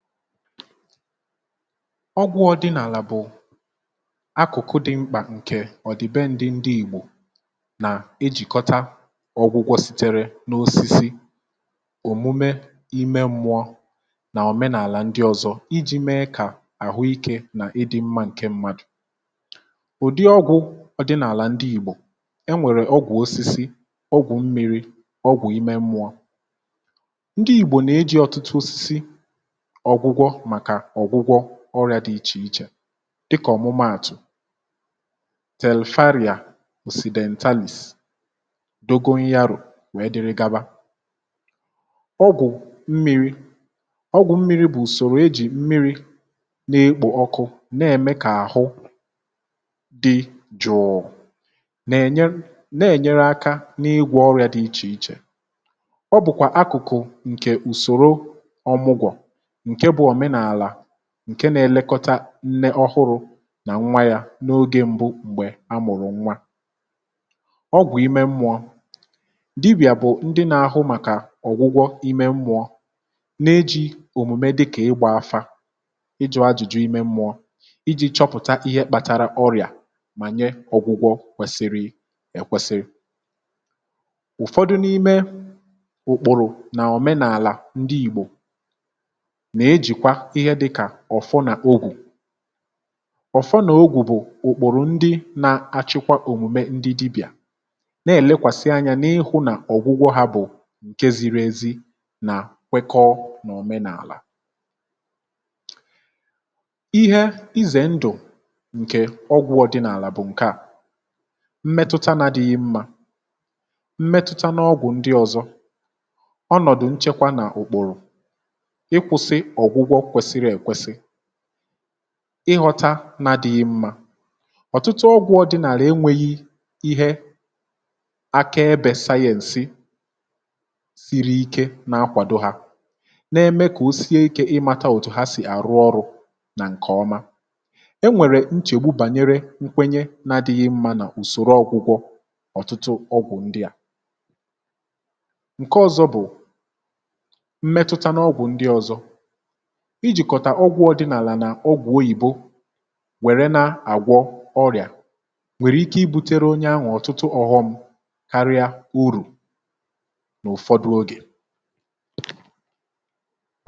ọgwụ̇ ọdịnala bụ̀ akụ̀kụ dị̇ mkpà ǹkè ọ̀dị̀be ndị ìgbò nà-ejìkọ̀tà ọgwụgwọ sitere n’osisi um. ị hụ̀? òmume ime mmụọ nà òmenàlà ndị ọ̀zọ ka e ji mee kà àhụ ike nà ịdị mmȧ ǹke mmadụ̀. ụ̀dị ọgwụ̇ ọdịnala ndị ìgbò, ọ bụ̀ ya, enwèrè ọgwụ̀ osisi um, ọgwụ̀ mmi̇ri̇, ọgwụ̀ ime mmụ̇ọ̇ — dị iche iche n’ọ̀gwụgwọ ọrịa dị iche iche, dịkà ọ̀mụmụ, àtụ̀ telifharia, osonentaalis, dogohia rò wee dịrị gaba. ọgwụ̀ mmiri, ị ghọta, bụ̀kwa akụ̀kụ̀ dị mkpụmkpụ. ọ bụ̀ usòrò e ji mmiri na-ekpò ọkụ na-eme kà àhụ dị jụ̀ụ̀, na-enyere aka n’ịgwọ ọrịa dị iche iche um. ọ bụkwa n’ihi na a na-eji ya mee ka nne ọhụrụ̇ nà nwa ya nwee àhụ ike n’ogė mbụ m̀gbè amụ̀rụ̀ nwa. ọgwụ̀ ime mmụọ, dịbì̀à bụ̀ ndị nȧ-ahụ n’ihe a. ha ji òmùme dịkà ịgbȧ afa, ịjụ̇ ajụ̀jụ ime mmụọ, chọpụ̀ta ihe kpàtàrà ọrịà, wee nye ọgwụgwọ kwesiri èkwesiri um. ụ̀fọdụ n’ime ụkpụ̀rụ̀ nà òmenàlà ndị ìgbò bụ̀ ọ̀fọ nà ogwù. ọ̀fọ nà ogwù, ị hụ̀, bụ̀ ụ̀kpọ̀rọ̀ ndị na-achịkwa òmùme ndị dibì̀à, na-eme ka ọgwụgwọ ha kwekọọ n’òmenààlà. ma e nwere nsogbu — ihe izè ndụ̀ ǹkè ọgwụ̇ ọ̀dịnàlà bụ̀ ǹke à nwere mmetụta nà mgbe ụfọdụ ọ naghị adị mmȧ um. n’eziokwu, ọtụtụ ọgwụ̇ ọdịnàlà enweghi ihe aka ebė sayẹ̇ǹsị siri ike na-akwàdo ha, nke na-eme kà o sie ikė ịmȧta òtù ha sì àrụ ọrụ̇. n’ihi nke a, e nwèrè nchègbu bànyere nkwenye nà ọtụtụ ọgwụ̀ ndị a. mgbe ụfọdụ, ijikọ ọgwụ ọdịnàlà nà ọgwụ oyìbo, kama inye uru, ọ nwere ike bute nsogbu karịa.